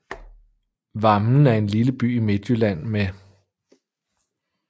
Vammen er en lille by i Midtjylland med